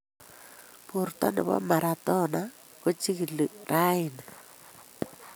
Borto nebo Maradona kechigili raeni